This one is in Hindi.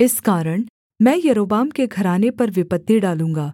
इस कारण मैं यारोबाम के घराने पर विपत्ति डालूँगा